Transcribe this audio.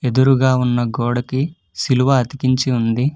ఎదురుగా ఉన్న గోడకి సిలువ అతికించి ఉంది.